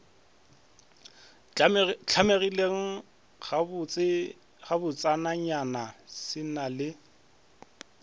hlamegile gabotsenyana se na le